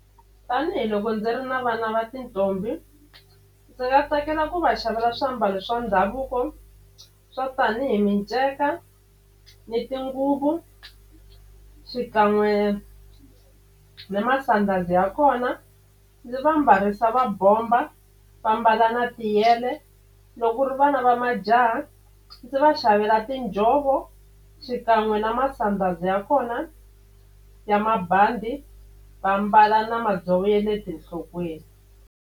Tanihiloko ndzi ri na vana va tintombi ndzi nga tsakela ku va xavela swiambalo swa ndhavuko swa tanihi miceka ni tinguvu xikan'we ni masandhazi ya kona ndzi va mbarisa va bomba va mbala na tiyele. Loko ku ri vana va majaha ndzi va xavela tinjhovo xikan'we na masandhazi ya kona ya mabandi va mbala na madzovo ya le ti enhlokweni.